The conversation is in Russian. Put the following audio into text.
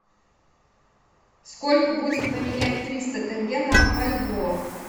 сколько будет поменять триста тенге на бальбоа